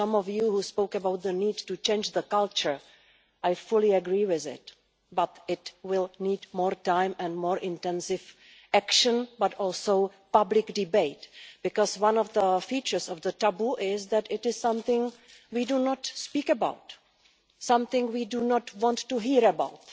Some of you spoke about the need to change the culture. I fully agree with that, but it will need more time and more intensive action, and also public debate because one of the features of the taboo is that it is something we do not speak about, something we do not want to hear about,